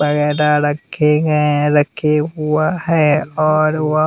वगैरह रखे गये हैं रखे हुआ है और वो--